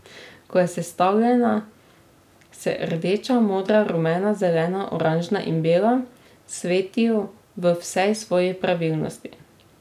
Ko je sestavljena, se rdeča, modra, rumena, zelena, oranžna in bela svetijo v vsej svoji pravilnosti.